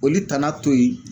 Olu tana to yen